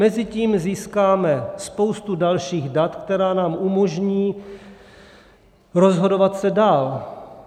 Mezitím získáme spoustu dalších dat, která nám umožní rozhodovat se dál.